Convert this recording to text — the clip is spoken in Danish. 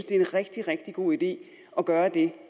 det er en rigtig rigtig god idé at gøre det